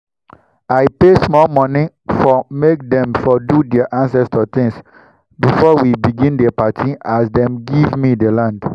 i pay small moni for make dem for do their ancestor things before we begin dey party as dem giv me the land